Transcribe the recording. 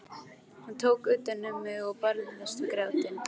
Hann tók utan um mig og ég barðist við grátinn.